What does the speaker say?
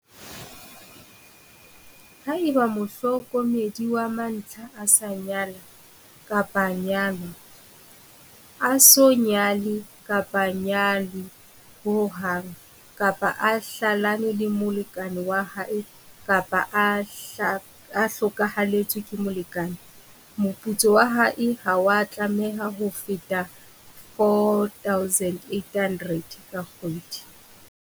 Haeba mohlokomedi wa mantlha a sa nyala kapa nyalwa, a so nyale kapa nyalwe ho hang, kapa a hlalane le molekane wa hae kapa a hlokahalletswe ke molekane, moputso wa hae ha wa tlameha ho feta R4 800 ka kgwedi.